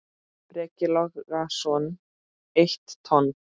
Breki Logason: Eitt tonn?